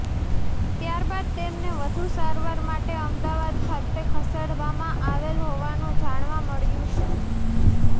ત્યારબાદ તેમને વધુ સારવાર માટે અમદાવાદ ખાતે ખસેડવામાં આવેલ હોવાનું જાણવા મળ્યું છે